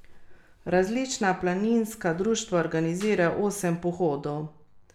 Različna planinska društva organizirajo osem pohodov.